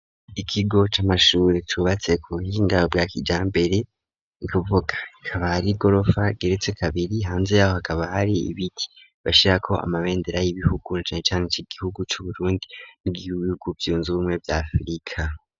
Ikigo c'amashure cubatse ku buhinda bwa kijambere nukuvuga hakaba hari igorofa igeretse kabiri hanze yaho hakaba hari ibiti bashyirako amabendera y'ibihugu cane cane iki gihugu cu Burundi nibihugu vyunze bumwe vya afrika.